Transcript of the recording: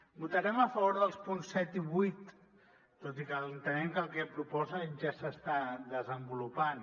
votarem a favor dels punts set i vuit tot i que entenem que el que proposen ja s’està desenvolupant